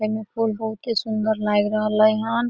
एमे पुल बहुते सुंदर लाग रहले हन।